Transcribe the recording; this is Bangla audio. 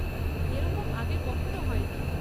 এরকম আগে কখনও হয়নি।